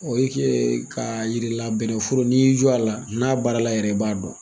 O ye kɛɛ k'a yir'i la bɛnɛforo n'i y'i jɔ a la, n'a baarala yɛrɛ i b'a dɔn.